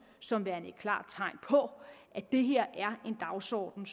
som værende et klart tegn på at det her er en dagsorden